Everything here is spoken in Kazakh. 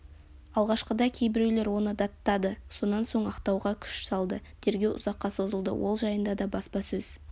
алғашқыда кейбіреулер оны даттады сонан соң ақтауға күш салды тергеу ұзаққа созылды ол жайында да баспасөз